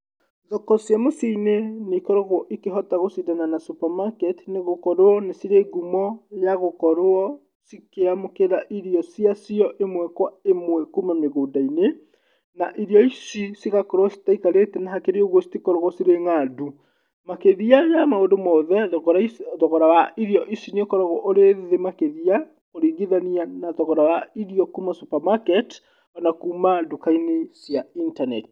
Thoko cia mĩciĩ-inĩ nĩikoragwo ikĩhota gũcindana na supermarkets nĩgũkorwo nĩ cirĩ ngumo ya gũkorwo ikĩamũkĩra irio cia cio ĩmwe kwa ĩmwe kuma mĩgũnda-inĩ, na irio ici cigakoragwo citaikarĩte, na hakĩrĩ ũguo citikoragwo cirĩ ng'andu. Makĩria ya maũndũ mothe thogora wa irio ici ũkoragwo ũrĩ thĩ makĩria kũringithania na thogora wa irio kuma supermarket na kuma nduka-inĩ cia intaneti.